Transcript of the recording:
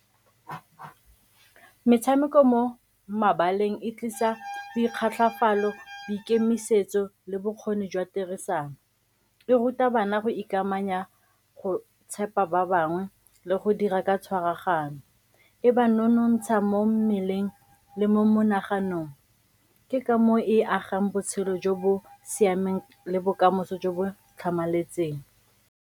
Metshameko mo mabaleng e tlisa , boikemisetso le bokgoni jwa tirisano. E ruta bana go ikamanya go tshepa ba bangwe le go dira ka tshwaraganyo. E ba nonontsha mo mmeleng le mo monaganong, ke ka moo e agang botshelo jo bo siameng le bokamoso jo bo tlhamaletseng.